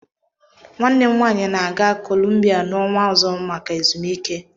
Nwanne m nwanyị na-aga Kolumbia n'ọnwa ọzọ maka ezumike